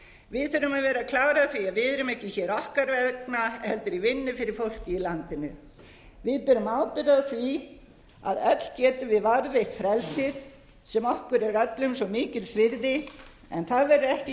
að vera klár á því að við erum ekki hér okkar vegna heldur í vinnu fyrir fólkið í landinu við berum ábyrgð á því að öll getum við varðveitt frelsið sem okkur er öllum svo mikils virði en það verður ekki